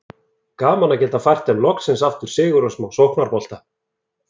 Gaman að geta fært þeim loksins aftur sigur og smá sóknarbolta!